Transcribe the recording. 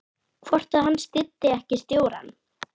Hvort að hann styddi ekki stjórann?